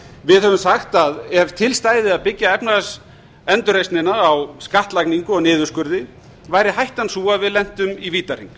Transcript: við höfum sagt að ef til stæði að byggja efnahagsendurreisnina á skattlagningu og niðurskurði væri hættan sú að við lentum í vítahring